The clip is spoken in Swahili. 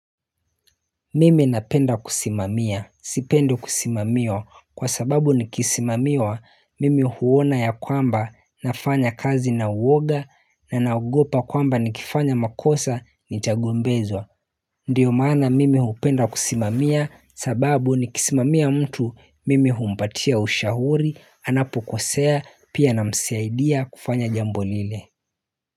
Mimi napenda kusimamia, sipendi kusimamiwa kwa sababu nikisimamiwa mimi huona ya kwamba nafanya kazi na uoga na naogopa kwamba nikifanya makosa nitagombezwa Ndiyo maana mimi hupenda kusimamia sababu nikisimamia mtu mimi humpatia ushauri anapo kosea pia na msaidia kufanya jambo lile.